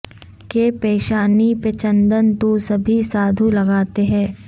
کہ پیشانی پہ چندن تو سبھی سادھو لگاتے ہیں